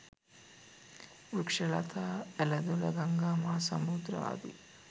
වෘක්ෂලතා, ඇළ දොළ, ගංගා, මහා සමුදුර ආදී